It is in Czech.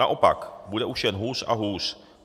Naopak, bude už jen hůř a hůř.